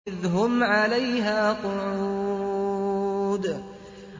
إِذْ هُمْ عَلَيْهَا قُعُودٌ